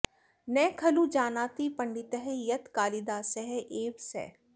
न खलु जानाति पण्डितः यत् कालीदासः एव सः